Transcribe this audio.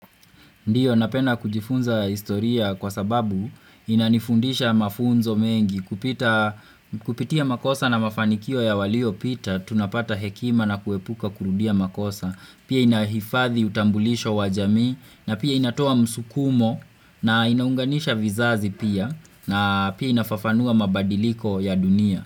Ndio napenda kujifunza historia kwa sababu inanifundisha mafunzo mengi kupitia makosa na mafanikio ya waliopita tunapata hekima na kuepuka kurudia makosa. Pia inahifadhi utambulisho wa jamii, na pia inatoa msukumo, na inaunganisha vizazi pia, na pia inafafanua mabadiliko ya dunia.